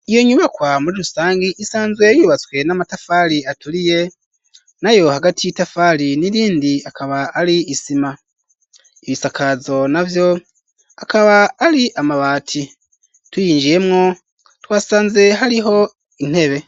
Iyo nyubakwa muri rusangi isanzwe yubatswe n'amatafari aturiye nayo hagati y'itafari n'irindi akaba ari isima ibisakazo navyo akaba ari amabati tuyinjiyemwo twasanze hariho intebe.